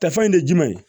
Tɛfan in de ye jumɛn ye